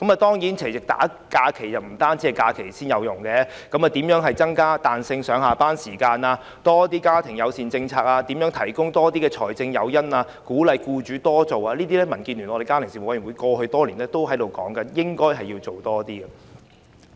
當然，不單提供多些假期，對於如何增加彈性上下班時間、如何鼓勵僱主提供多些家庭友善政策、如何提供多些財政誘因等，這些也是民建聯家庭事務委員會過去多年來建議多做的事情。